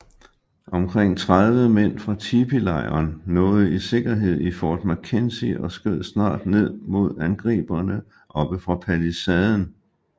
Omkring 30 mænd fra tipilejren nåede i sikkerhed i Fort McKenzie og skød snart ned mod angriberne oppe fra palisaden